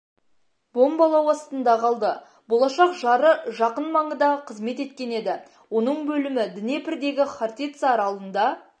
бомбалау астында қалды болашақ жары жақын маңда қызмет еткен еді оның бөлімі днепрдегі хортица аралында